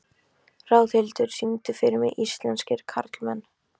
Ráðhildur, syngdu fyrir mig „Íslenskir karlmenn“.